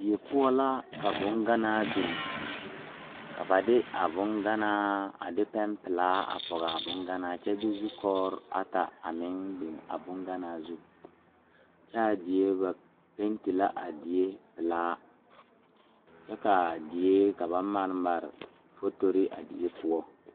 Die poɔ la ka boŋganaa beŋ ka ba de a boŋganaa a de pɛmpelaa a pɔgaa boŋganaa kyɛ de zukɔgri ata a meŋ beŋ a boŋganaa zu kyɛ a die ba penti la a die pelaa kyɛ kaa die ka ba mare mare fotori a die poɔ.